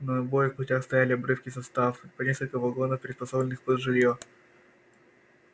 на обоих путях стояли обрывки составов по несколько вагонов приспособленных под жилье